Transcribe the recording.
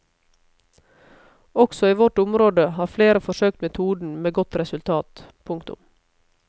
Også i vårt område har flere forsøkt metoden med godt resultat. punktum